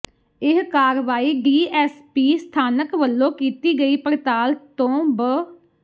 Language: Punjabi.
ਇਹ ਕਾਰਵਾਈ ਡੀਐੱਸਪੀ ਸਥਾਨਕ ਵੱਲੋਂ ਕੀਤੀ ਗਈ ਪੜਤਾਲ ਤੋਂ ਬ